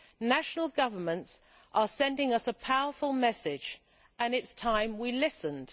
national governments are sending us a powerful message, and it is time we listened.